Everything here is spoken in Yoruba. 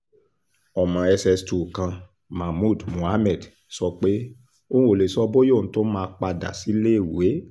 ọmọ ss2 kan mahmood mohammed sọ pé òun ò lè sọ bóyá òun tún máa padà síléèwé